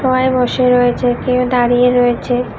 সোফায় বসে রয়েছে কেউ দাঁড়িয়ে রয়েছে।